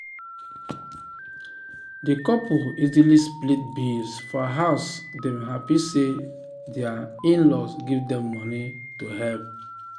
d couple easily split bills for house dem happy say dir in-laws give dem moeny to help.